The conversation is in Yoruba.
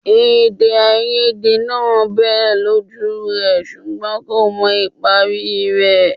Èdèàìyedè náà bẹ́ẹ̀ lójú rẹ̀ ṣùgbọ́n kò mọ ìparí rẹ̀